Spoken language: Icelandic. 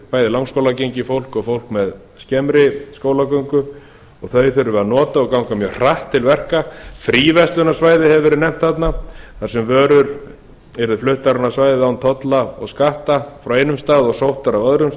bæði langskólagengið fólk og fólk með skemmri skólagöngu og þau þurfum við að nota og ganga mjög hratt til verka fríverslunarsvæði hefur verið nefnt þarna þar sem vörur yrðu fluttar inn á svæðið án tolla og skatta frá einum stað og sóttar á öðrum